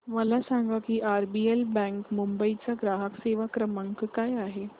मला सांगा की आरबीएल बँक मुंबई चा ग्राहक सेवा क्रमांक काय आहे